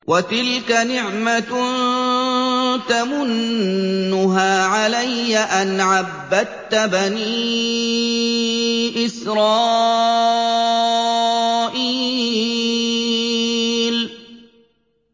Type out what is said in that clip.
وَتِلْكَ نِعْمَةٌ تَمُنُّهَا عَلَيَّ أَنْ عَبَّدتَّ بَنِي إِسْرَائِيلَ